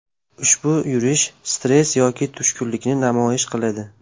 Ushbu yurish stress yoki tushkunlikni namoyon qiladi.